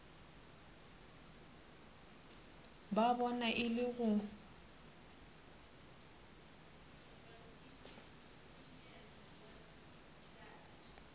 ba bona e le go